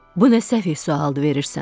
Bu nə səfeh sualdı verirsən?